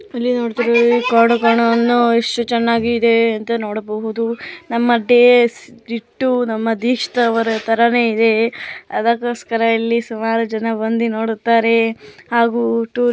ಇಲ್ಲಿ ನೋಡುತ್ತಿರುವುದು ಕಾಡು ಕೋಣವನ್ನು ಎಷ್ಟು ಚೆನ್ನಾಗಿ ಇದೆ ಅಂತ ನೋಡಬಹುದು ನಮ್ಮ ದೇಹ ದಿಷ್ಟು ನಮ್ಮ್ಗ್ ಇಷ್ಟ ಆದ ತರಾನೇ ಇದೆ ಅದಕ್ಕೋಸ್ಕರ ಇಲ್ಲಿ ಸುಮಾರು ಜನ ಬಂದಿ ನೋಡುತ್ತಾರೆ ಹಾಗು ಟೂರ್